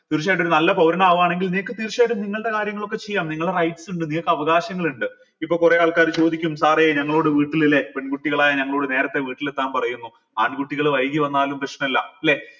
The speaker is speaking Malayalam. തീർച്ചയായിട്ടും ഒരു നല്ല പൗരൻ ആവുകയാണെങ്കിൽ നിങ്ങൾക്ക് തീർച്ചയായിട്ടും നിങ്ങള്ടെ കാര്യങ്ങളൊക്കെ ചെയ്യാം നിങ്ങള rights ഇണ്ട് നിങ്ങൾക്ക് അവകാശങ്ങൾ ഇണ്ട് ഇപ്പം കൊറെ ആൾക്കാർ ചോദിക്കും sir എ ഞങ്ങളോട് വീട്ടിൽ അല്ലെ പെൺകുട്ടികളായ ഞങ്ങളോട് നേരത്തെ വീട്ടിലെത്താൻ പറയുന്നു ആൺകുട്ടികൾ വൈകി വന്നാലും പ്രശ്നമല്ല ല്ലെ